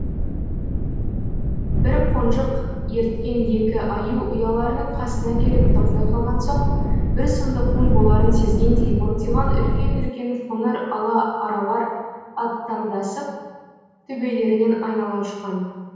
бір қонжық ерткен екі аю ұяларының қасына келіп тоқтай қалған соң бір сұмдықтың боларын сезгендей бортиған үлкен үлкен қоңыр ала аралар аттандасып төбелерінен айнала ұшқан